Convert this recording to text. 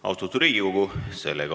Austatud Riigikogu!